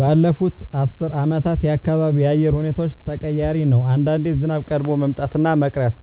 ባለፋት አስር አመታት የአካባቢው የአየር ሁኔታዎች ተቀያሪ ነው አንዳንዴ ዝናብ ቀድሞ መምጣት እና መቅረት